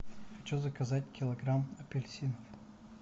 хочу заказать килограмм апельсинов